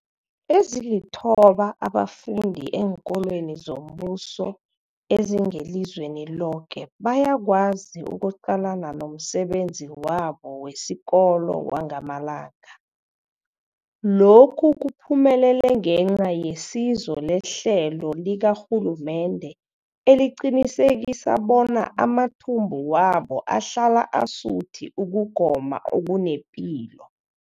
Ezilithoba abafunda eenkolweni zombuso ezingelizweni loke bayakwazi ukuqalana nomsebenzi wabo wesikolo wangamalanga. Lokhu kuphumelele ngenca yesizo lehlelo likarhulumende eliqinisekisa bona amathumbu wabo ahlala asuthi ukugoma okunepilo.